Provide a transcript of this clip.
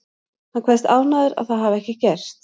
Hann kveðst ánægður að það hafi ekki gerst.